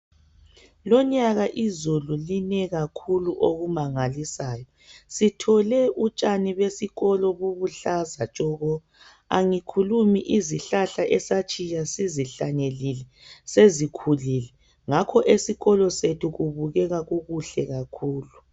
Lonyaka izulu line kakhulu okumangalisayo sithole utshani besikolo buluhlaza tshoko angikhulumi izihlahla esatshiya sizihlanyelile sezikhulile ngakho esikolo sethu kubukeka kukuhle kakhulu.